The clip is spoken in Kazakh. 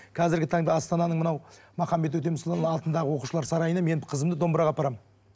қазіргі таңда астананың мынау махамбет өтемісұлының атындағы оқушылар сарайына мен қызымды домбыраға апарамын